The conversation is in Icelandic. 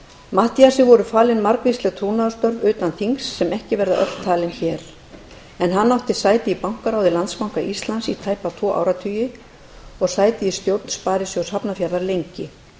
matthíasi voru falin margvísleg trúnaðarstörf utan þings sem ekki verða öll talin hér en hann átti sæti í bankaráði landsbanka íslands í tæpa tvo áratugi og sæti í stjórn sparisjóðs hafnarfjarðar lengi